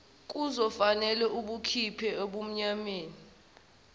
kuzofanele usikhiphe ebumnyameni